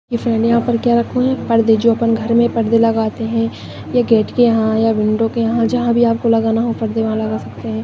पर्दे जो अपन घर में लगते है ये गेट के यहाँ विंडो के यहा --